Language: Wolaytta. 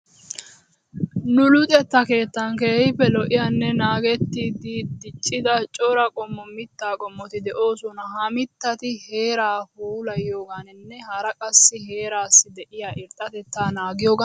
Nu luxettaa keettan keehippe lo'iyanne naagettidi diccida cora qommo mittaa qommoti de'oosona. Ha mittati heeraa puulayiyoogaaninne hara qassi heeraassi de'iya irxxatettaa naagiyogan erettoosona.